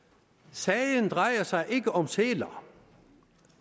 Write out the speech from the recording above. sagen drejer sig ikke om sæler